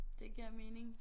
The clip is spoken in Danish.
Det giver mening